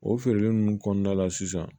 O feereli nunnu kɔnɔna la sisan